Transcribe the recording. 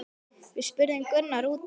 Við spurðum Gunnar út í hana?